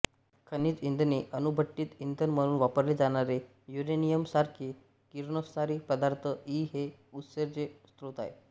खनिज इंधने अणुभट्टीत इंधन म्हणून वापरले जाणारे युरेनियमसारखे किरणोत्सारी पदार्थ इ हे ऊर्जेचे स्रोत आहेत